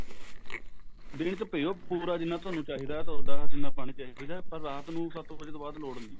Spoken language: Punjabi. ਦਿਨ ਚ ਪਿਓ ਪੂਰਾ ਜਿੰਨਾ ਤੁਹਾਨੂੰ ਚਾਹਿਦਾ ਤੁਹਾਡਾ ਜਿੰਨਾ ਪਾਣੀ ਤੁਹਾਨੂੰ ਚਾਹਿਦਾ ਪਰ ਰਾਤ ਨੂੰ ਸੱਤ ਵਜੇ ਤੋਂ ਬਾਅਦ ਲੋੜ ਨਹੀਂ